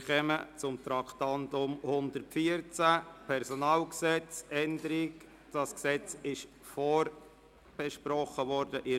Wir kommen zum Traktandum 114, der Änderung des Personalgesetzes vom 16. September 2004 (PG).